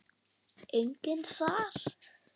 Enginn þar.